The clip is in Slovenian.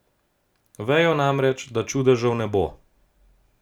Vejo namreč, da čudežev ne bo.